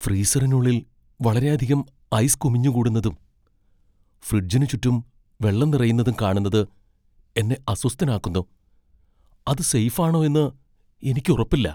ഫ്രീസറിനുള്ളിൽ വളരെയധികം ഐസ് കുമിഞ്ഞുകൂടുന്നതും ഫ്രിഡ്ജിന് ചുറ്റും വെള്ളം നിറയുന്നതും കാണുന്നത് എന്നെ അസ്വസ്ഥനാക്കുന്നു, അത് സേഫ് ആണോ എന്ന് എനിക്ക് ഉറപ്പില്ല.